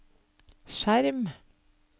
skjerm